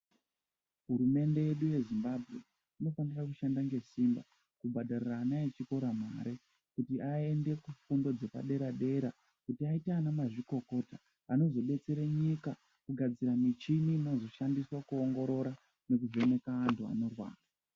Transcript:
Hurumende yedu ye Zimbabwe inofanira kushanda ngesimba kubhadharira ana echikora mari, kuti vaenda kufundo dzepadera dera kuti vaite ana mazvikokota anozodetsere nyika kugadzira michini inozoshandiswe kuwongorora nekuvheneka anhu anorwara.